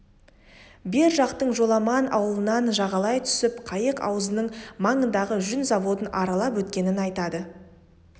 бер жақтың жоламан аулынан жағалай түсіп қайық аузының маңындағы жүн заводын аралап өткенін айтады